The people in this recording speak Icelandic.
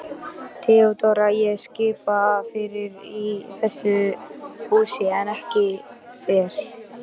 THEODÓRA: Ég skipa fyrir í þessu húsi en ekki þér.